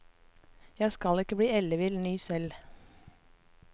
Jeg skal ikke bli ellevill ny selv.